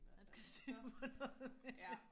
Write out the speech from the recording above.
Han skal have styr på noget